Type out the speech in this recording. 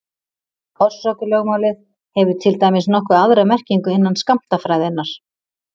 Orsakalögmálið hefur til dæmis nokkuð aðra merkingu innan skammtafræðinnar.